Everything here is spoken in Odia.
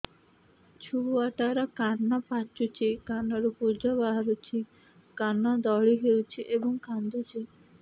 ଛୁଆ ଟା ର କାନ ପାଚୁଛି କାନରୁ ପୂଜ ବାହାରୁଛି କାନ ଦଳି ହେଉଛି ଏବଂ କାନ୍ଦୁଚି